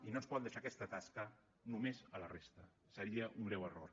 i no ens poden deixar aquesta tasca només a la resta seria un greu error